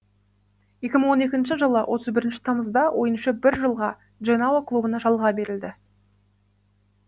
екі мың он екінші жылы отыз бірінші тамызда ойыншы бір жылға дженао клубына жалға берілді